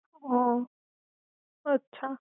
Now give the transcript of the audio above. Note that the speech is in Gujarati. હ અછા